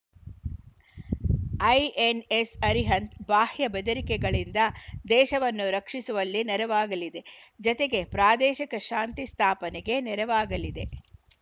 INS Arihant ಬಾಹ್ಯ ಬೆದರಿಕೆಗಳಿಂದ ದೇಶವನ್ನು ರಕ್ಷಿಸುವಲ್ಲಿ ನೆರವಾಗಲಿದೆ ಜತೆಗೆ ಪ್ರಾದೇಶಿಕ ಶಾಂತಿ ಸ್ಥಾಪನೆಗೆ ನೆರವಾಗಲಿದೆ